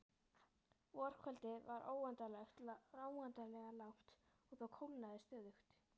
Vorkvöldið var óendanlega langt og það kólnaði stöðugt.